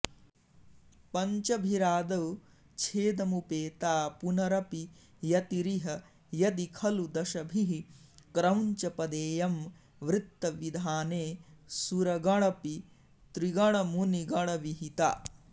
पञ्चभिरादौ छेदमुपेता पुनरपि यतिरिह यदि खलु दशभिः क्रौञ्चपदेयं वृत्तविधाने सुरगणपितृगणमुनिगणविहिता